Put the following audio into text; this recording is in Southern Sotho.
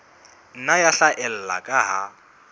nna ya haella ka ha